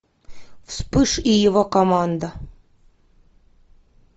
вспыш и его команда